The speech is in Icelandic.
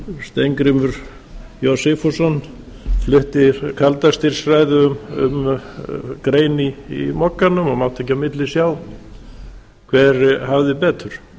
steingrímur j sigfússon flutti kaldastríðsræðu um grein í mogganum og mátti ekki á milli sjá hver hafði betur